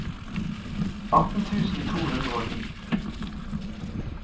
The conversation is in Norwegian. atten tusen to hundre og ni